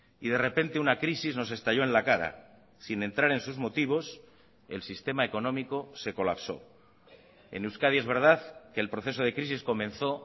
y de repente una crisis nos estalló en la cara sin entrar en sus motivos el sistema económico se colapsó en euskadi es verdad que el proceso de crisis comenzó